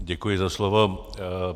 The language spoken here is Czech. Děkuji za slovo.